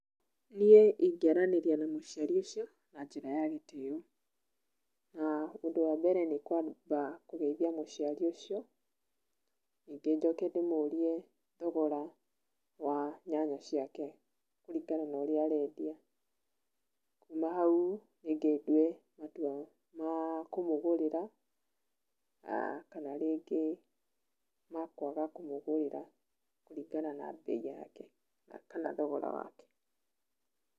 Nīe īgearaníria na mūcīarī ūcīo na njīra ya gītīo na ndū wa mbere nī kūamba kūgeīthīa mūcīarī ūcio nī īgīe njoke ndīmūrūe thogora wa nyanya cīake kurīgana na ūrīa aredīa. kūma haū nī īge ndūe matuwa makumūgūrira kana rīngī ma kūaga kūmūgūrīra kūrīgana na beī yake